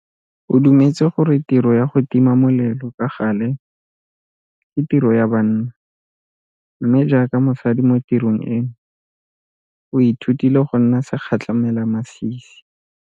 O dumetse gore tiro ya go tima molelo ka gale ke tiro ya banna mme jaaka mosadi mo tirong eno o ithutile go nna segatlhamelamasisi.